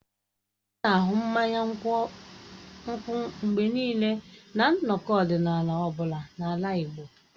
A na-ahụ mmanya nkwụ mgbe niile na nnọkọ ọdịnala ọ bụla n'ala Igbo.